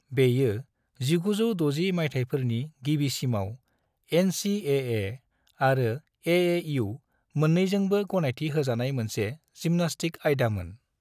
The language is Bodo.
बेयो 1960 मायथायफोरनि गिबिसिमाव एन.सी.ए.ए. आरो ए.ए.यु मोन्नैजोंबो गनायथि होजानाय मोनसे जिम्नास्टिक आयदामोन।